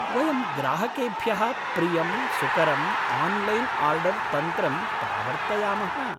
वयं ग्राहकेभ्यः प्रियं सुकरम् आन्लैन् आर्डर् तन्त्रं प्रावर्तयामः।